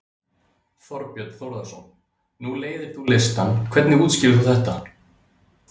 Þorbjörn Þórðarson: Nú leiðir þú listann, hvernig útskýrir þú þetta?